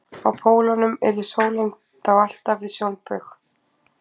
á pólunum yrði sólin þá alltaf við sjónbaug